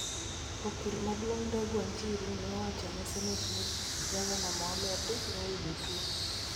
Okil maduong', Ndegwa Njiru, ne owacho ne senet ni Gavana Mohamud ne oyudo tuo